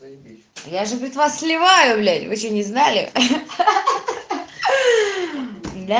заебись я же блять вас сливаю блять вы че не знали ахаха да